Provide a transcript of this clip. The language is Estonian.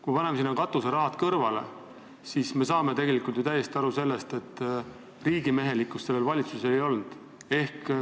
Kui paneme sinna katuserahad kõrvale, siis saame tegelikult aru, et riigimehelikkust sellel valitsusel ei ole olnud.